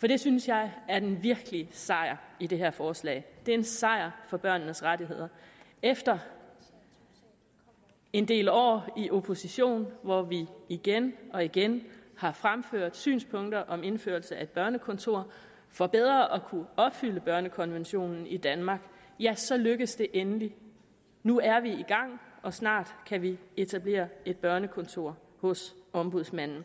for det synes jeg er den virkelige sejr i det her forslag det er en sejr for børnenes rettigheder efter en del år i opposition hvor vi igen og igen har fremført synspunkter om indførelse af et børnekontor for bedre at kunne opfylde børnekonventionen i danmark ja så lykkedes det endelig nu er vi i gang og snart kan vi etablere et børnekontor hos ombudsmanden